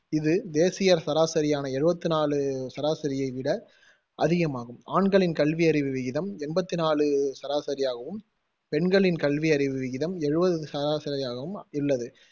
இது தேசிய சராசரியான எழுவத்தி நாலு சராசரியை விட அதிகமாகும். ஆண்களின் கல்வியறிவு விகிதம் எண்பத்தி நாலு சராசரி ஆகவும், பெண்களின் கல்வியறிவு விகிதம் எழுவது சராசரியாகவும் உள்ளது.